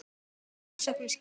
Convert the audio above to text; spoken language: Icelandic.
Hvaða rannsóknarskyldu?